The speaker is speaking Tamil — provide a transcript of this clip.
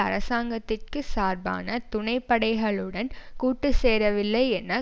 அரசாங்கத்திற்கு சார்பான துணைப்படைகளுடன் கூட்டுச்சேரவில்லை என